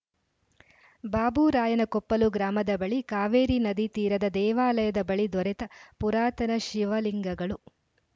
ಬಾಬುರಾಯನಕೊಪ್ಪಲು ಗ್ರಾಮದ ಬಳಿ ಕಾವೇರಿ ನದಿ ತೀರದ ದೇವಾಲಯದ ಬಳಿ ದೊರೆತ ಪುರಾತನ ಶಿವ ಲಿಂಗಗಳು